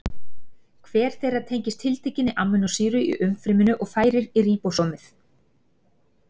Hver þeirra tengist tiltekinni amínósýru í umfryminu og færir í ríbósómið.